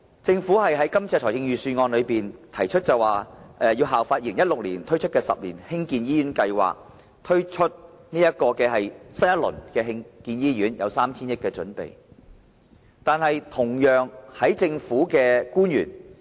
政府在預算案中提出，因應2016年推出的10年醫院發展計劃，籌備第二個10年醫院發展計劃，並為此預留 3,000 億元。